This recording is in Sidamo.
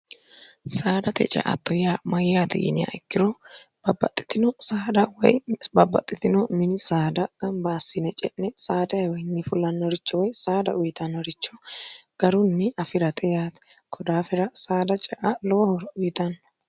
saadate ce'atto yaa mayyaat yinniha ikkiro bbbaxxitino saada woy babbaxxitino mini saada gambaassine ce'ne saadawiinni fullannoricho woy saada uyitannoricho garunni afi'rate yaate kodaafira saada ce'a lowo horo uyitanno.